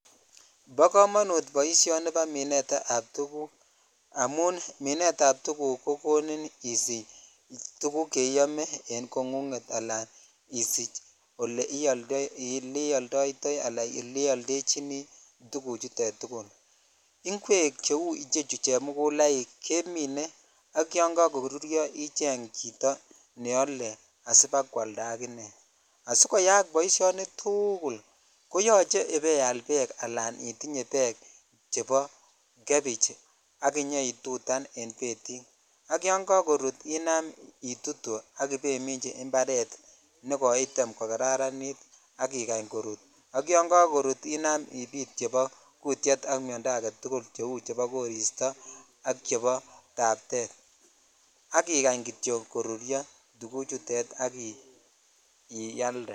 Bo kamanut boisioni bo minetab tukuk amun minetab tukuk kokonin isich tukuk che iyome eng koingunget alan isich oleioldoitoi alan oleioldochini tukuchutet tugul, ingwek cheu chechu chemukulaik kemine ak yon kakoruryo icheng chito ne ale asipa kwalda akine, asikoyaak boisioni tugul koyache ibeial beek anan itinye beek chebo cabbage ak inyeitutan en betit, ak yon kakorut inam itutu ak ibeiminchi imbaret ne koitem kokararanit ak ikany korut, ak yon kakorut inam ipit chebo kuutiet ak miondo ake tugul cheu chebo koristo ak chebo taptet ak ikany kityo koruryo tukuchutet ak ialde.